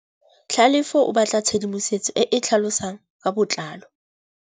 Tlhalefô o batla tshedimosetsô e e tlhalosang ka botlalô.